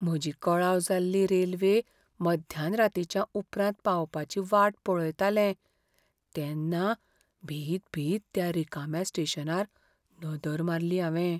म्हजी कळाव जाल्ली रेल्वे मध्यानरातींच्या उपरांत पावपाची वाट पळयतालें तेन्ना भितभीत त्या रिकाम्या स्टेशनार नदर मारली हांवें.